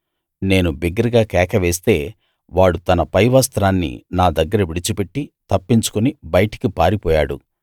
నేను బిగ్గరగా కేక వేస్తే వాడు తన పై వస్త్రాన్ని నా దగ్గర విడిచిపెట్టి తప్పించుకుని బయటికి పారిపోయాడు